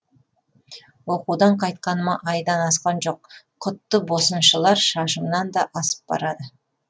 оқудан қайтқаныма айдан асқан жоқ құтты босыншылар шашымнан да асып барады